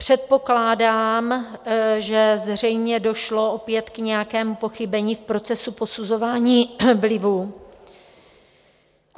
Předpokládám, že zřejmě došlo opět k nějakému pochybení v procesu posuzování vlivů.